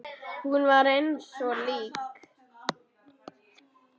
Hún var eins og lík.